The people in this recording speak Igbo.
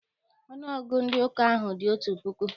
Ọnụọgụgụ ndị ụka ahụ dị otu puku.